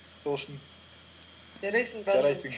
сол үшін жарайсың